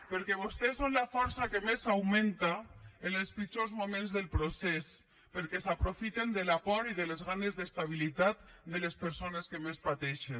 perquè vostès són la força que més augmenta en els pitjors moments del procés perquè s’aprofiten de la por i de les ganes d’estabilitat de les persones que més pateixen